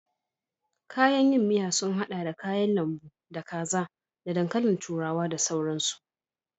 Kayan yin soup sun haɗa da kayan lambu, da kaza ko da dankalin turawa da sauransu.